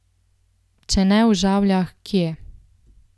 Če ne v Žavljah, kje?